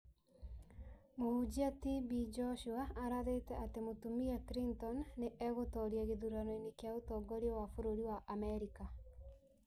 Mũhunjia TB Joshua arathĩte atĩ mũtumia Clinton nĩ egũtoria gĩthurano-inĩ kĩa ũtongoria wa bũrũri wa Amerika